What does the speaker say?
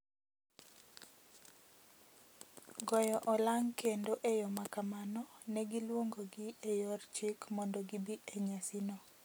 goyo olang’ kendo e yo ma kamano ne giluongogi e yor chik mondo gibi e nyasino.